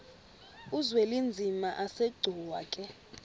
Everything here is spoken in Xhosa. uzwelinzima asegcuwa ke